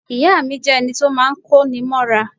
Ìya mi jẹ́ ẹni to máa ń kó ni mọ́ra